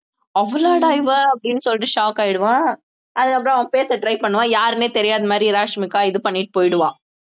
அவளாடா இவ அப்படீன்னு சொல்லிட்டு shock ஆயிடுவான் அதுக்கப்புறம் அவன் பேச try பண்ணுவான் யாருன்னே தெரியாத மாதிரி ராஷ்மிகா இது பண்ணிட்டு போயிடுவா